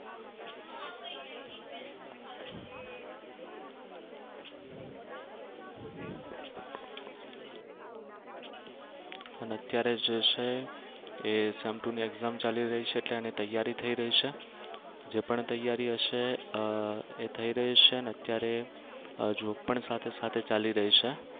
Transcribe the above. અને અત્યારે જે છે એ sem two ની exam ચાલી રહી છે એટલે અને તૈયારી થઈ રહી છે. જે પણ તૈયારી હશે અર એ થઈ રહી છે અને અત્યારે job પણ સાથે સાથે ચાલી રહી છે.